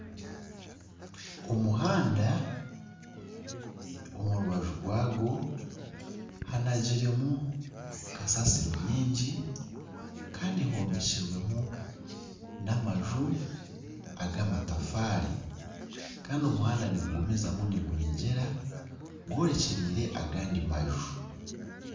Omuhanda omu rubaju rwagwo hanagiremu kasaasiro nyingi kandi hombekirwe n'amaju ag'amatafaari kandi omuhanda nigugumizamu nigunyegyera, gworekyereire agandi maju